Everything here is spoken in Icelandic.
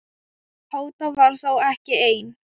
Tóta var þó ekki ein.